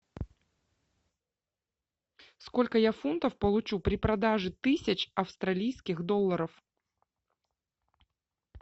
сколько я фунтов получу при продаже тысяч австралийских долларов